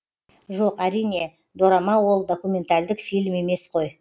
жоқ әрине дорама ол документальдік фильм емес қой